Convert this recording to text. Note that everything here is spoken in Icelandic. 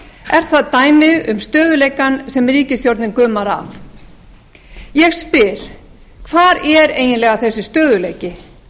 er það dæmi um stöðugleikann sem ríkisstjórnin gumar af ég spyr hvar er eiginlega þessi stöðugleiki